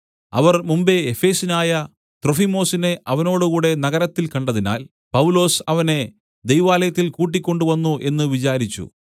അവർ മുമ്പെ എഫെസ്യനായ ത്രൊഫിമൊസിനെ അവനോടുകൂടെ നഗരത്തിൽ കണ്ടതിനാൽ പൗലൊസ് അവനെ ദൈവാലയത്തിൽ കൂട്ടിക്കൊണ്ടുവന്നു എന്നു വിചാരിച്ചു